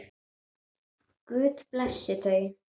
Guð blessi þau.